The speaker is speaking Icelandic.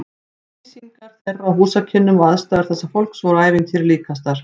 Lýsingar þeirra á húsakynnum og aðstæðum þessa fólks voru ævintýri líkastar.